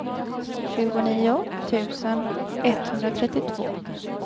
tjugonio tusen etthundratrettiotvå